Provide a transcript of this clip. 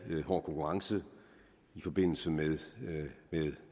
hård konkurrence i forbindelse med